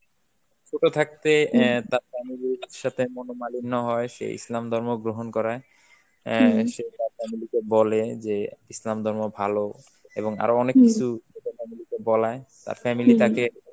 ছোট থাকতে অ্যাঁ তার family র সাথে মনোমালিন্য হয় সে ইসলাম ধর্ম গ্রহণ করায়, অ্যাঁ সে তার family কে বলে যে ইসলাম ধর্ম ভালো, এবং আরো অনেক কিছু, বলায়, তার family তাকে